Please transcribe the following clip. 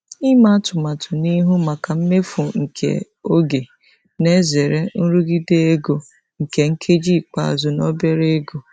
Ịme atụmatụ n'ihu maka mmefu nke oge na-ezere nrụgide ego nke nkeji ikpeazụ na obere ego.